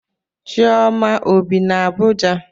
Chioma ọ bi na Abuja?